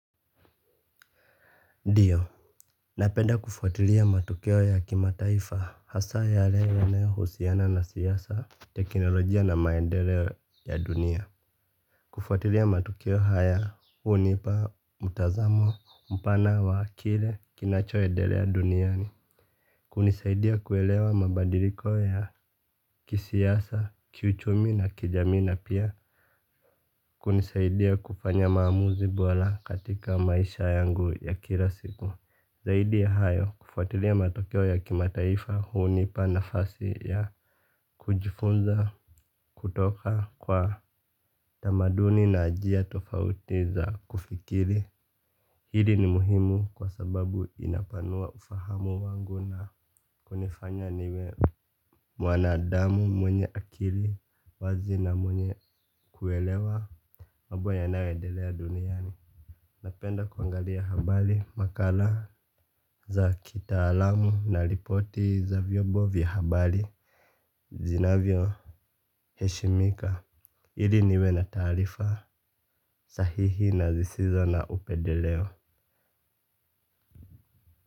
Dio, napenda kufuatilia matokeo ya kimataifa hasa yale yanayohusiana na siasa, teknolojia na maendeleo ya dunia. Kufuatilia matukio haya hunipa, mtazamo, mpana, wa kile, kinachoedelea duniani. Kunisaidia kuelewa mabadiliko ya kisiasa, kiuchumi na kijamii na pia. Kunisaidia kufanya maamuzi bola katika maisha yangu ya kila siku. Zaidi ya hayo kufuatilia matokeo ya kimataifa hunipa nafasi ya kujifunza kutoka kwa tamaduni na jia tofauti za kufikiri. Hili ni muhimu kwa sababu inapanua ufahamu wangu na kunifanya niwe mwanadamu mwenye akili wazi na mwenye kuelewa mabo yanayoendelea duniani napenda kuangalia habari makala za kitaalamu na ripoti za vyombo vya habari Zinavyoheshimika Ili niwe na taarifa sahihi na zisizo na upedeleo.